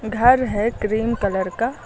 घर है cream colour का।